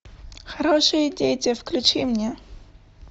хорошие дети включи мне